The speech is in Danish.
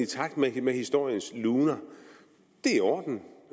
takt med historiens luner